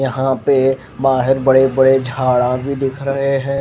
यहाँ पर बहार बड़े बड़े झाडा भी दिख रहे है।